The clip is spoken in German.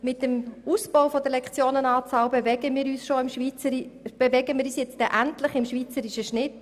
Mit dem Ausbau der Lektionenzahl bewegen wir uns endlich im schweizerischen Schnitt.